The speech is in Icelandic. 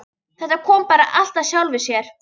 Þetta kom bara allt af sjálfu sér.